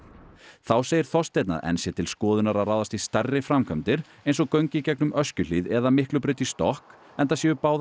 þá segir Þorsteinn að enn sé til skoðunar að ráðast í stærri framkvæmdir eins og göng í gegnum Öskjuhlíð eða Miklubraut í stokk enda séu báðar